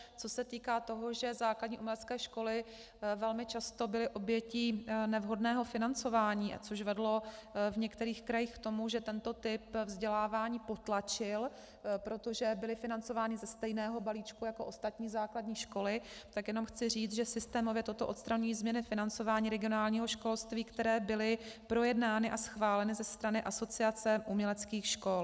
Co se týká toho, že základní umělecké školy velmi často byly obětí nevhodného financování, což vedlo v některých krajích k tomu, že tento typ vzdělávání potlačili, protože byly financovány ze stejného balíčku jako ostatní základní školy, tak jenom chci říct, že systémově toto odstraňují změny financování regionálního školství, které byly projednány a schváleny ze strany Asociace uměleckých škol.